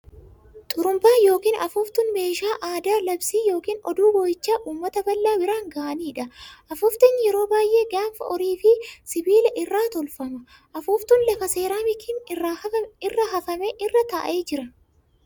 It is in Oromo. Xurumbaa yookiin Afuuftuun meeshaa aadaa labsii yookiin oduu boo'ichaa ummata bal'aa biraan ga'aniidha. Afuuftuun yeroo baay'ee gaanfa horii fi sibiila irraa tolfama .Afuuftuun lafa seeraamikiin irra hafame irra taa'ee jira.